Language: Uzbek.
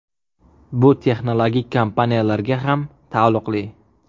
Bu texnologik kompaniyalarga ham taalluqli.